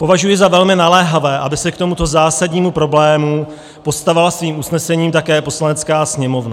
Považuji za velmi naléhavé, aby se k tomuto zásadnímu problému postavila svým usnesením také Poslanecká sněmovna.